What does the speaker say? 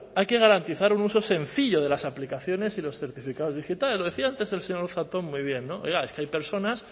hay que garantizar un uso sencillo de las aplicaciones y los certificados digitales decía antes el señor zatón muy bien oiga es que hay personas